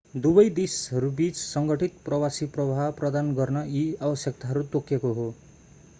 दुवै देशहरूबिच संगठित प्रवासी प्रवाह प्रदान गर्न यी आवश्यकताहरू तोकिएको हो